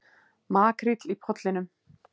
Makríll í Pollinum